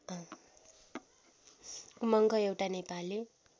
उमङ्ग एउटा नेपाली